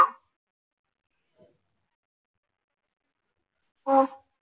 അഹ്